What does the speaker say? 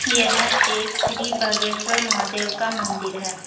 यह एक श्री बागेश्वर महादेव का मंदिर है।